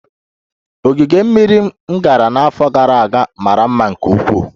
Ogige mmiri m gara n'afọ gara aga mara mma nke ukwuu